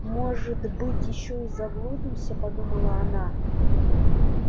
может быть ещё и заблудимся подумала она